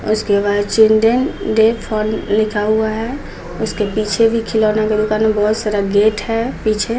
उसके बाद children day fun लिखा हुआ है उसके पीछे भी खिलौना बहुत सारा गेट है पीछे--